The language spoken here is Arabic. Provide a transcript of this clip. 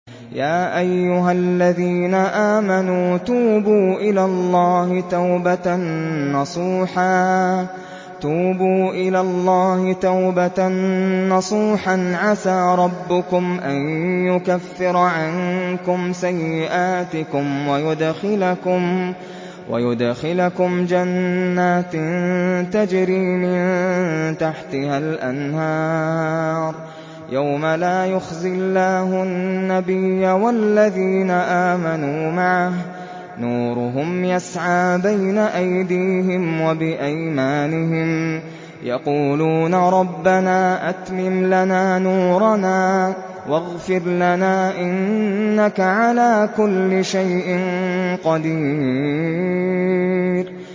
يَا أَيُّهَا الَّذِينَ آمَنُوا تُوبُوا إِلَى اللَّهِ تَوْبَةً نَّصُوحًا عَسَىٰ رَبُّكُمْ أَن يُكَفِّرَ عَنكُمْ سَيِّئَاتِكُمْ وَيُدْخِلَكُمْ جَنَّاتٍ تَجْرِي مِن تَحْتِهَا الْأَنْهَارُ يَوْمَ لَا يُخْزِي اللَّهُ النَّبِيَّ وَالَّذِينَ آمَنُوا مَعَهُ ۖ نُورُهُمْ يَسْعَىٰ بَيْنَ أَيْدِيهِمْ وَبِأَيْمَانِهِمْ يَقُولُونَ رَبَّنَا أَتْمِمْ لَنَا نُورَنَا وَاغْفِرْ لَنَا ۖ إِنَّكَ عَلَىٰ كُلِّ شَيْءٍ قَدِيرٌ